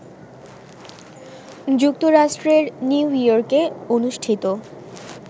যুক্তরাষ্ট্রের নিউ ইয়র্কে অনুষ্ঠিত